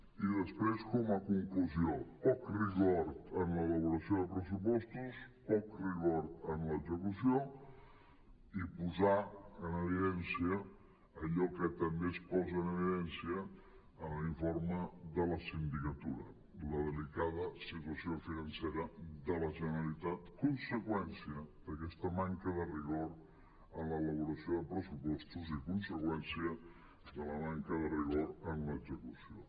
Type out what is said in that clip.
i després com a conclusió poc rigor en l’elaboració de pressupostos poc rigor en l’execució i posar en evidència allò que també es posa en evidència en l’informe de la sindicatura la delicada situació financera de la generalitat conse·qüència d’aquesta manca de rigor en l’elaboració de pressupostos i conseqüència de la manca de rigor en l’execució